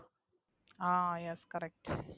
ah yes correct